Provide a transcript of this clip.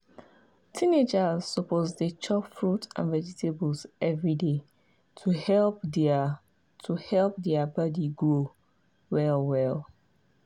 teenagers suppose dey chop fruit and vegetables every day to help their to help their body grow well well.